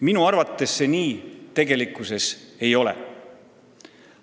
Minu arvates see nii tegelikkuses ei ole.